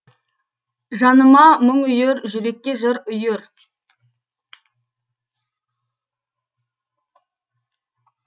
жаныма мұң үйір жүрекке жыр үйір